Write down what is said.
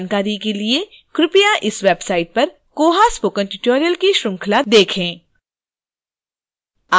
अधिक जानकारी के लिए कृपया इस वेबसाइट पर koha spoken tutorial की श्रृंखला देखें